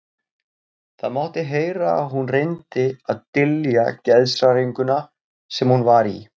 Það mátti heyra að hún reyndi að dylja geðshræringuna sem hún var í.